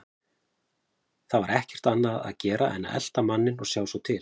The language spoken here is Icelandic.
Það var ekkert annað að gera en að elta manninn og sjá svo til.